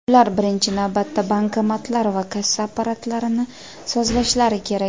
ular birinchi navbatda bankomatlar va kassa apparatlarini sozlashlari kerak.